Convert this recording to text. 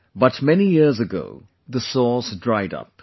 But many years ago, the source dried up